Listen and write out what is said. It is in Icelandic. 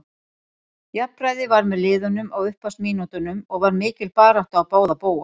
Jafnræði var með liðunum á upphafsmínútunum og var mikil barátta á báða bóga.